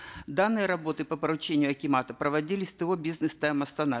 данные работы по поручению акимата проводились то бизнес тайм астана